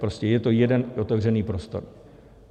Prostě je to jeden otevřený prostor.